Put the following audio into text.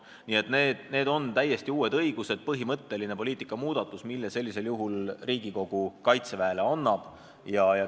Nii et need on täiesti uued õigused, põhimõtteline poliitikamuudatus, mille Riigikogu sellisel juhul Kaitseväele annab.